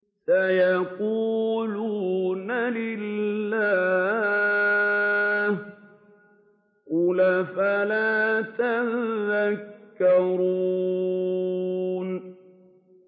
سَيَقُولُونَ لِلَّهِ ۚ قُلْ أَفَلَا تَذَكَّرُونَ